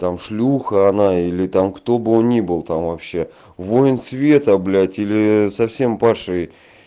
там шлюха она или там кто бы он ни был там вообще воин света блять или совсем падший